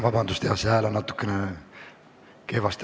Härra esimees!